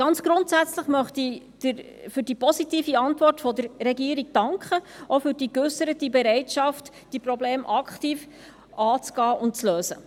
Ganz grundsätzlich möchte ich für die positive Antwort der Regierung danken, auch für die geäusserte Bereitschaft, dieses Problem aktiv anzugehen und zu lösen.